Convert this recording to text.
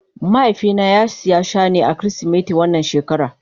Mahaifi na ya siya Shane a kirisimeti wannan shekara.